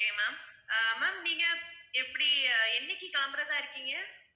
okay ma'am ah ma'am நீங்க எப்படி என்னைக்கு கெளம்புறதா இருக்கீங்க?